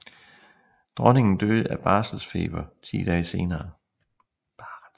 Dronningen døde af barelsfeber ti dage senere